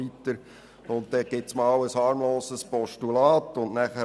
Dann legt man ein harmloses Postulat vor.